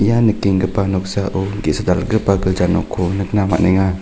ia nikenggipa noksao ge·sa dal·gipa gilja nokko nikna man·enga.